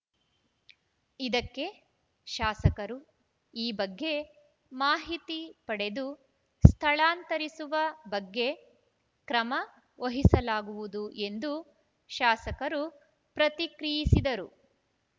ಇದಕ್ಕೆ ಶಾಸಕರು ಈ ಬಗ್ಗೆ ಮಾಹಿತಿ ಪಡೆದು ಸ್ಥಳಾಂತರಿಸುವ ಬಗ್ಗೆ ಕ್ರಮ ವಹಿಸಲಾಗುವುದು ಎಂದು ಶಾಸಕರು ಪ್ರತಿಕ್ರಿಯಿಸಿದರು